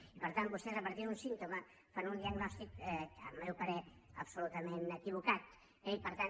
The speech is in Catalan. i per tant vostès a partir d’un símptoma fan un diagnòstic al meu parer absolutament equivocat i per tant